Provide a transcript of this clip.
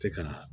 Tɛ ka